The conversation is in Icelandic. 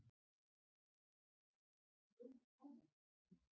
Var þetta svona kjánalegt?